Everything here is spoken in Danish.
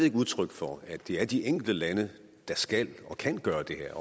et udtryk for at det er de enkelte lande der skal og kan gøre det her